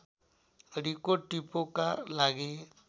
रिको टिपोका लागि